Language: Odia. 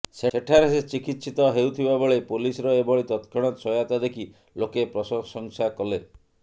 ସେଠାରେ ସେ ଚିକିତ୍ସତ ହେଉଥିବାବେଳେ ପୋଲିସରଏଭଳି ତତକ୍ଷଣାତ ସହାୟତା ଦେଖି ଲୋକେ ପ୍ରସଶଂସା କଲେ